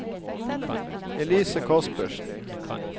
Elise Kaspersen